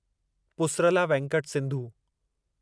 Pusarla Venkata Sindhu